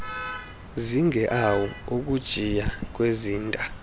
zigeawu ukujiya kwezinta